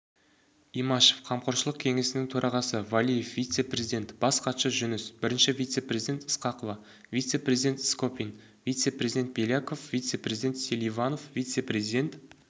имашев қамқоршылық кеңесінің төрағасы валиев вице-президент бас хатшы жүніс бірінші вице-президент ысқақова вице-президент скопин вице-президент беляков вице-президент селиванов вице-президент